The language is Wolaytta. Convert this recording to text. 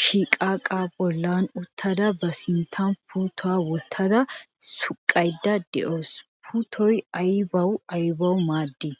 shidhdhaa bollan uttada ba sinttan puuttuwa wottada suqqaydda de"awus. Puuttoy aybawu aybawu maaddii?